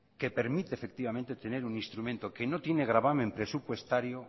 que permite tener un instrumento que no tiene gravamen presupuestario